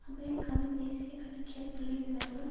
அமெரிக்காவின் தேசிய கணக்கியல் புள்ளி விவரங்கள்